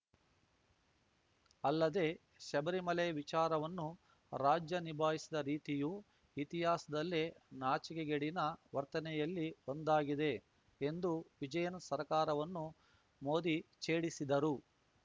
ಅಲ್ಲದೆ ಶಬರಿಮಲೆ ವಿಚಾರವನ್ನು ರಾಜ್ಯ ನಿಭಾಯಿಸಿದ ರೀತಿಯು ಇತಿಹಾಸದಲ್ಲೇ ನಾಚಿಕೆಗೇಡಿನ ವರ್ತನೆಗಳಲ್ಲಿ ಒಂದಾಗಿದೆ ಎಂದು ವಿಜಯನ್‌ ಸರ್ಕಾರವನ್ನು ಮೋದಿ ಛೇಡಿಸಿದರು